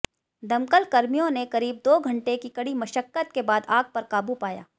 दमकल कर्मियों ने करीब दो घंटे की कड़ी मशक्कत के बाद आग पर काबू पाया